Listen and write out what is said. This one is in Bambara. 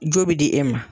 Jo bɛ di e ma